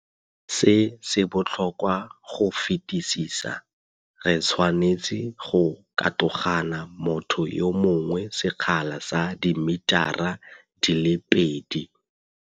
Se se botlhokwa go fetisisa, re tshwanetse go katogana motho yo mongwe sekgala sa dimitara di le pedi.